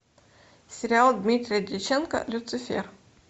сериал дмитрия дьяченко люцифер